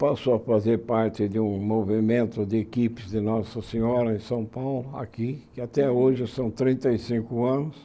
Passou a fazer parte de um movimento de equipes de Nossa Senhora em São Paulo, aqui, e até hoje são trinta e cinco anos.